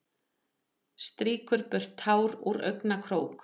Strýkur burtu tár úr augnakrók.